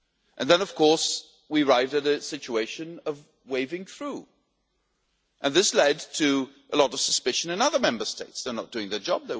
And then of course, we arrived at a situation of waving through, and this led to a lot of suspicion in other Member States they're not doing their job